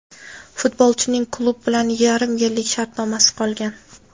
Futbolchining klub bilan yarim yillik shartnomasi qolgan.